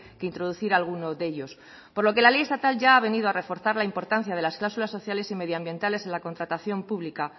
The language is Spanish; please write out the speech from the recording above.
que introducir alguno de ellos por lo que la ley estatal ya ha venido a reforzar la importancia de las cláusulas sociales y medioambientales en la contratación pública